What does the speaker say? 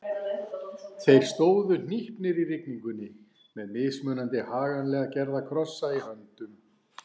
Þeir stóðu hnípnir í rigningunni með mismunandi haganlega gerða krossa í höndum.